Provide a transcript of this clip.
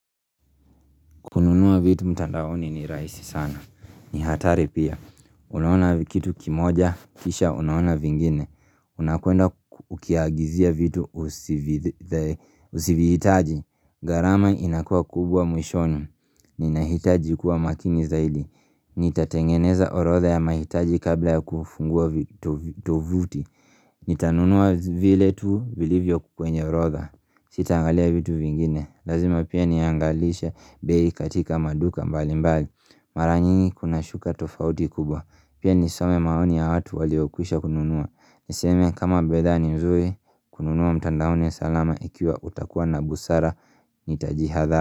Kununua vitu mtandaoni ni raisi sana. Ni hatari pia. Unaona kitu kimoja, kisha unaona vingine. Unakuenda ukiagizia vitu usivihitaji. Gharama inakua kubwa mwishoni. Nina hitaji kuwa makini zaidi. Nitatengeneza orotha ya mahitaji kabla ya kufungua tuvuti. Nitanunua vile tu vilivyo kwenye orodha Sitangalia vitu vingine Lazima pia niangalisha bei katika maduka mbali mbali Maranyingi kuna shuka tofauti kubwa Pia nisome maoni ya hatu waliokwisha kununua Niseme kama bidhaa ni mzuri kununua mtandaoni salama Ikiwa utakuwa na busara nitaji hadha.